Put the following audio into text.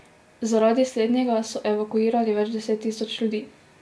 Zaradi slednjega so evakuirali več deset tisoč ljudi.